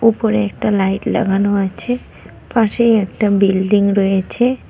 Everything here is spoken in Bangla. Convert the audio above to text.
উপরে একটা লাইট লাগানো আছে পাশেই একটা বিল্ডিং রয়েছে।